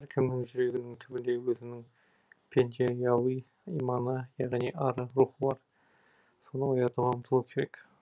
әркімнің жүрегінің түбінде өзінің пендеауи иманы яғни ары рухы бар соны оятуға ұмтылу керек